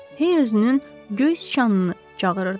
Hey özünün göy sıçannını çağırırdı.